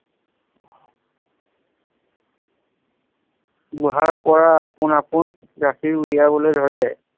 গুহাৰ পৰা আপোন আপোন গাখীৰ উলিয়াবলৈ ধৰে।